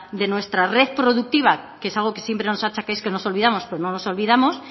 de nuestra red productiva que es algo que siempre nos achaquéis que nos olvidamos pero no nos olvidamos